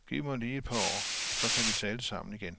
Giv mig lige et par år, så kan vi tale sammen igen.